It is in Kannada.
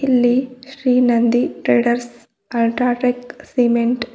ಇಲ್ಲಿ Shri Nandi traders UltraTech cement --